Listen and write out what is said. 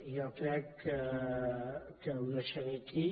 jo crec que ho deixaré aquí